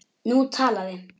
Nú talaði